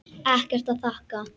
Ekkert að þakka.